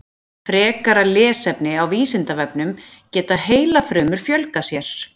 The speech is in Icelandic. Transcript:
Frekara lesefni á Vísindavefnum Geta heilafrumur fjölgað sér?